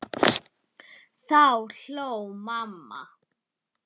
Þá hló mamma.